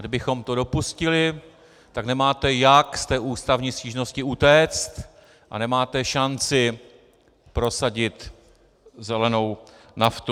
Kdybychom to dopustili, tak nemáte, jak z té ústavní stížnosti utéct, a nemáte šanci prosadit zelenou naftu.